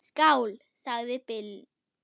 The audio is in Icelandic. Skál, sagði Bill.